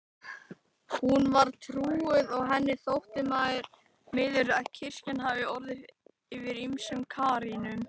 Hún var trúuð og henni þótti miður að kirkjan hafði orðið fyrir ýmsum kárínum.